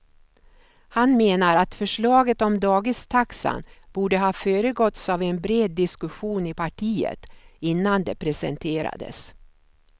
Han menar att förslaget om dagistaxan borde ha föregåtts av en bred diskussion i partiet innan det presenterades.